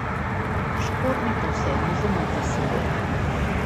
Škornje pa vseeno vzemite s seboj.